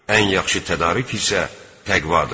Ən yaxşı tədarük isə təqvadır.